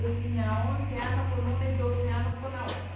Eu tinha onze anos com uma e doze anos com a outra.